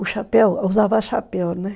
O chapéu, usava chapéu, né?